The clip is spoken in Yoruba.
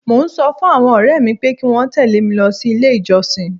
Mọ ń sọ fún àwọn ọ̀rẹ́ mi pé kí wọ́n tẹ̀lé mi lọ sí ilé ìjọsìn.